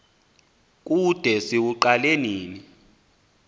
kude siwuqale nini